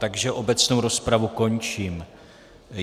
Takže obecnou rozpravu končím.